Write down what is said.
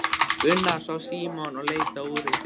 Gunnar sá Símon og leit á úrið sitt.